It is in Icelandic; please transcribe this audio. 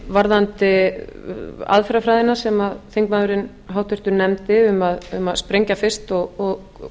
varðandi aðferðafræðina sem þingmaðurinn háttvirti nefndi um að sprengja fyrst og